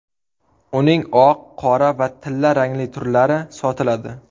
Uning oq, qora va tilla rangli turlari sotiladi.